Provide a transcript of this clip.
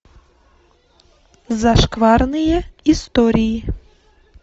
зашкварные истории